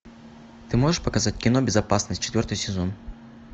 ты можешь показать кино безопасность четвертый сезон